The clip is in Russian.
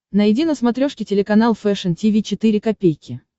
найди на смотрешке телеканал фэшн ти ви четыре ка